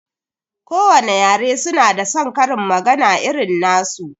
Ko wane yare su na da saon karin magana irin nasu